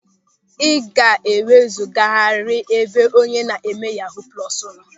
Ị ga-ewezugarịrị n'ebe onye na-eme yahuu plọsu nọ!